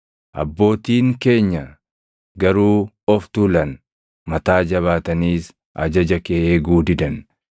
“Abbootiin keenya garuu of tuulan; mataa jabaataniis ajaja kee eeguu didan.